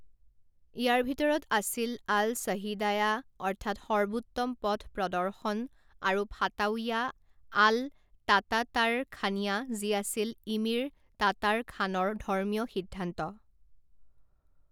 ইয়াৰ ভিতৰত আছিল আল সহিদায়া অৰ্থাৎ সৰ্বোত্তম পথ প্ৰদৰ্শন আৰু ফাটাওয়া আল টাটাটাৰখানীয়া যি আছিল ইমিৰ টাটাৰখানৰ ধৰ্মীয় সিদ্ধান্ত।